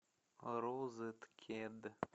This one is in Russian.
розеткед